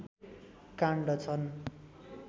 काण्ड छन्